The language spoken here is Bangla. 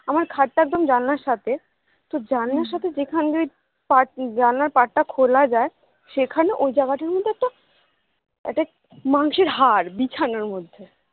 আমার খাট টা একদম জানলার সাথে তো জানলার সাথে যেখানে দিয়ে ওই জানলার part টা খোলা যায় সেখানে ওই জায়গাটার মধ্যে একটা মাংসের হাড় বিছানার মধ্যে